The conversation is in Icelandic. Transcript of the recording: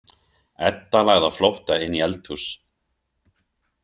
Edda lagði á flótta inn í eldhús.